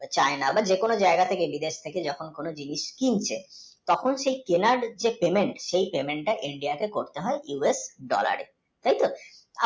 China যে কোনও যায়গা থেকে বিদেশ থেকে যখন সেই payment শেই payment টা হচ্ছে US dollar এ তত